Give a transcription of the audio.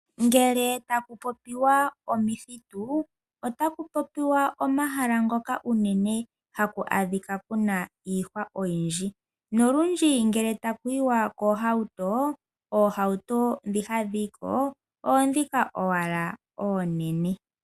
Ngele taku popiwa omithitu, otaku popiwa omahala ngoka uunene haku adhika kuna ihwa oyindji, nolundji ngele taku yiwa koohauto, oohauto dhoka hadhi yiko oodhoka wala oonene.